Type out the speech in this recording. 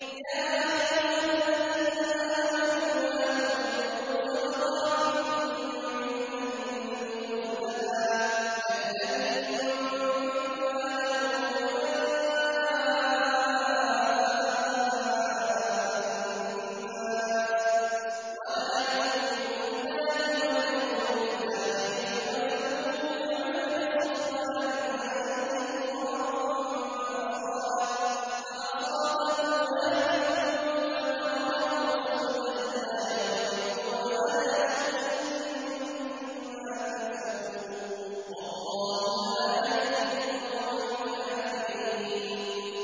يَا أَيُّهَا الَّذِينَ آمَنُوا لَا تُبْطِلُوا صَدَقَاتِكُم بِالْمَنِّ وَالْأَذَىٰ كَالَّذِي يُنفِقُ مَالَهُ رِئَاءَ النَّاسِ وَلَا يُؤْمِنُ بِاللَّهِ وَالْيَوْمِ الْآخِرِ ۖ فَمَثَلُهُ كَمَثَلِ صَفْوَانٍ عَلَيْهِ تُرَابٌ فَأَصَابَهُ وَابِلٌ فَتَرَكَهُ صَلْدًا ۖ لَّا يَقْدِرُونَ عَلَىٰ شَيْءٍ مِّمَّا كَسَبُوا ۗ وَاللَّهُ لَا يَهْدِي الْقَوْمَ الْكَافِرِينَ